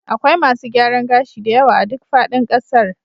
Akwai masu gyaran gashi da yawa a duk faɗin ƙasar